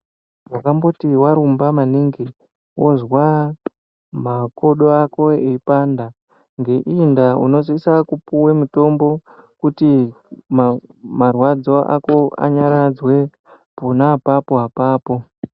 Wakamboti warumba maningi wozwa makodo ako eipanda ngeiyi ndaa unosisa kupiwa mutombo kuti ma marwadzo ako anyaradzwe pona apapo apapo.